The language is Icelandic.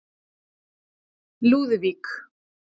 Lúðvík